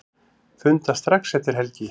Funda strax eftir helgi